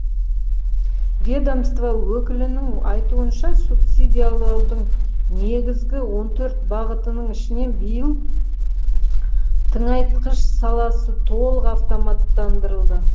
ведомство өкілінің айтуынша субсидиялаудың негізгі он төрт бағытының ішінен биыл тыңайтқыш саласы толық автоматтандырылды